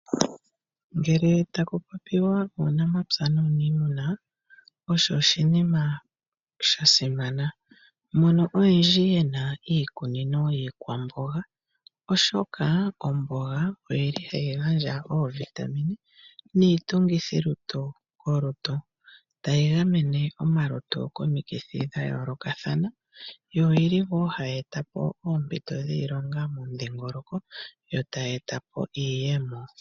Ngele taku popiwa uunamapya nuunimuna osho oshinima shasimana mono oyendji yena iikunino yiikwamboga oshoka , omboga oyili hayi gandja ovitamine niitungithilutu molutu tayi gamene omalutu komikithi dhayoolokathana , yo oyili wo hayi etapo oompito dhiilonga momudhingoloko yo tayi etapo iiyemo .